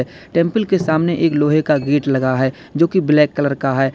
Temple के सामने एक लोहे का गेट लगा है जोकि ब्लैक कलर का है।